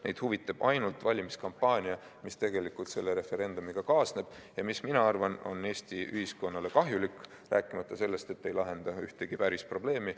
Neid huvitab ainult valimiskampaania, mis selle referendumiga kaasneb ja mis, ma arvan, on Eesti ühiskonnale kahjulik, rääkimata sellest, et ei lahenda ühtegi päris probleemi.